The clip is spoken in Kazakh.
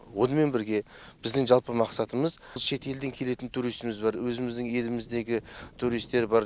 онымен бірге біздің жалпы мақсатымыз шетелден келетін турисіміз бар өзіміздің еліміздегі туристер бар